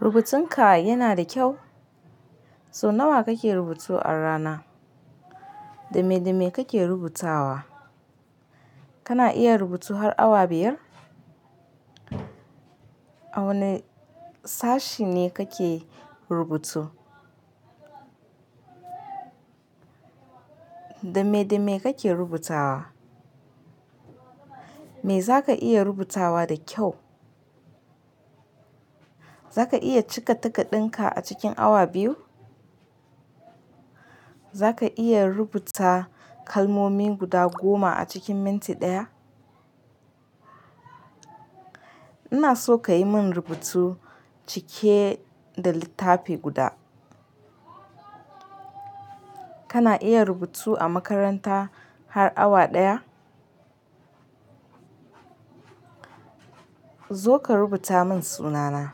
Rubutunka yana da kyau? So nawa kake rubutu a rana? Dame dame kake rubutawa? Kana iya rubutu har awa biyar? A wane sashi ne kake rubutu? Dame dame kake rubutawa? Me zaka iya rubutawa da kyau? Zaka iya cika takarɗunka a cikin awa biyu? Zaka iya rubuta kalmomi guda goma a cikin minti ɗaya? Ina so kayi min rubutu cike da littafi guda. Kana iya rubutu a makaranta har awa ɗaya? Zo ka rubuta min sunana.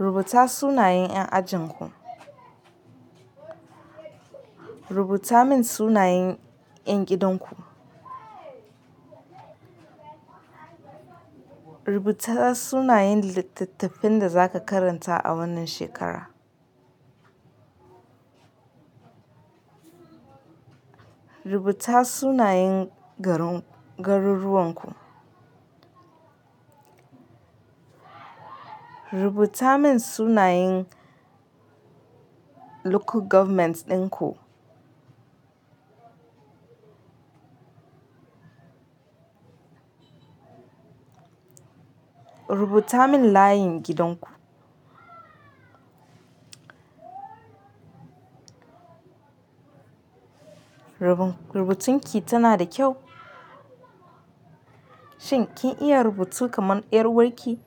Rubuta sunayen yan ajinku. Rubuta min sunayen yan gidan ku. Rubuta sunayen littafan da zaka karanta a wannan shekara. Rubuta sunayen garuruwan ku. Rubuta min sunayen local government ɗin ku. Rubuta min layin gidan ku. Rubutun ki tana da kyau? Shin kin iya rubutu kaman ƴar uwarki?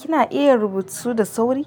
Kina iya rubutu da sauri?